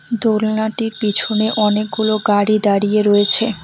দোলনাটির পিছনে অনেকগুলো গাড়ি দাঁড়িয়ে রয়েছে।